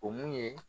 O mun ye